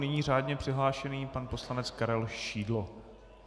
Nyní řádně přihlášený pan poslanec Karel Šídlo.